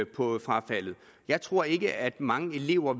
på frafaldet jeg tror ikke at mange elever